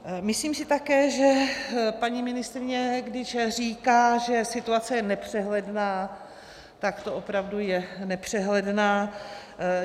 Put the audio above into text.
Myslím si také, že paní ministryně, když říká, že situace je nepřehledná, tak to opravdu je nepřehledná.